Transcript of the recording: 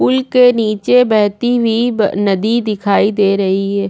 Pool के नीचे बहती हुई नदी दिखाई दे रही है।